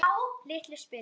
Litlu spilin.